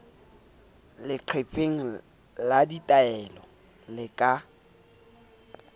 leqepheng la ditaelo le ka